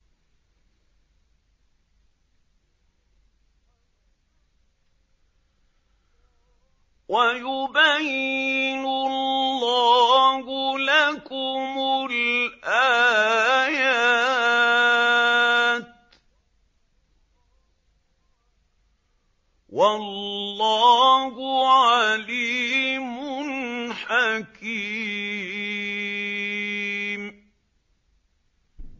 وَيُبَيِّنُ اللَّهُ لَكُمُ الْآيَاتِ ۚ وَاللَّهُ عَلِيمٌ حَكِيمٌ